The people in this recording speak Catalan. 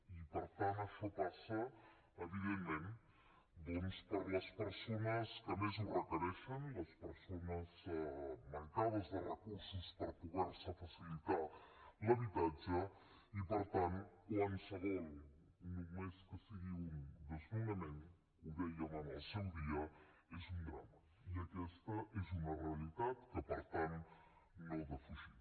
i per tant això passa evidentment doncs per les persones que més ho requereixen les persones mancades de recursos per poder se facilitar l’habitatge i per tant qualsevol només que en sigui un desnonament ho dèiem en el seu dia és un drama i aquesta és una realitat que per tant no defugim